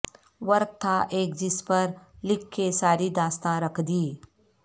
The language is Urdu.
ورق تھا ایک جس پر لکھ کے ساری داستاں رکھ دی